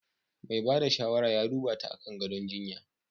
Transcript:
Mai ba da shawara ya duba ta akan gadon jinya.